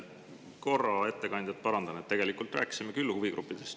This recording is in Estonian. Ma korra ettekandjat parandan: tegelikult rääkisime küll huvigruppidest.